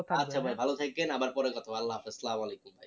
আচ্ছা ভাই ভালো থাকবেন আবার পরে কথা হবে, আল্লা হাফিজ আসসালামু আলাইকুম